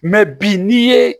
bi n'i ye